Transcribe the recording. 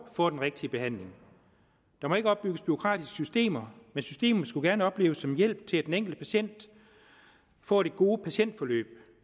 får den rigtige behandling der må ikke opbygges bureaukratiske systemer men systemet skulle gerne opleves som en hjælp til at den enkelte patient får det gode patientforløb